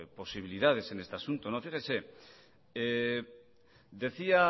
posibilidades en este asunto fíjese decía